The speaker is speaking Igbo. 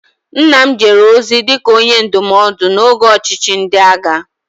Nna m jere ozi dị ka Onye Ndụmọdụ n'oge ọchịchị ndị agha